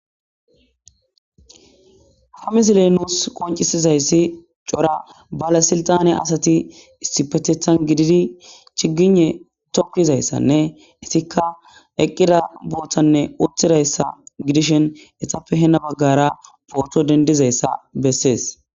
ha misiley nus qoncisizayssi cora bale siltane asati issipeteththan giididi chiigiynne tokizayssanne isikka eqqida booththanne uttidayssa gidishen hessape hena baggara potto dendizayssa bessees